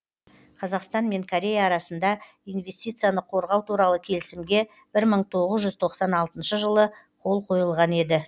қазақстан мен корея арасында инвестицияны қорғау туралы келісімге бір мың тоғыз жүз тоқсан алтыншы жылы қол қойылған еді